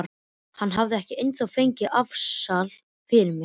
Þú hefur ekki ennþá fengið afsal fyrir mér.